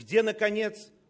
где наконец